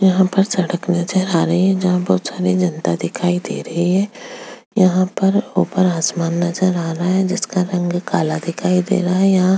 यहाँ पर सड़क नजर आ रही है जहाँ बहुत सारी जनता दिखाई दे ही है ऊपर आसमान नजर आ रहा है जिसका रंग काला दिखाई दे रहा है यहाँ --